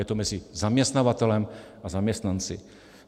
Je to mezi zaměstnavatelem a zaměstnanci.